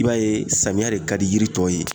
I b'a ye samiya de ka di yiri tɔw ye